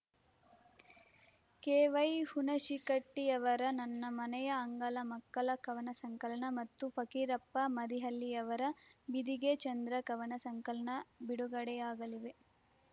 K Y ಹುಣಶಿಕಟ್ಟಿಯವರ ನನ್ನ ಮನೆಯ ಅಂಗಳ ಮಕ್ಕಳ ಕವನ ಸಂಕಲನ ಮತ್ತು ಫಕೀರಪ್ಪ ಮದಿಹಳ್ಳಿಯವರ ಬಿದಿಗೆ ಚಂದ್ರ ಕವನ ಸಂಕನ ಬಿಡುಗಡೆಯಾಗಲಿವೆ